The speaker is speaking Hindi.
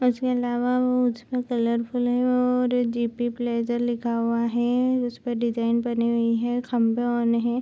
उसके अलावा वो उसका कलरफुल है और जी.पी. प्लेज़र लिखा हुआ है। उसपे डिजाईन बनी हुई है। खम्भे बने हैं।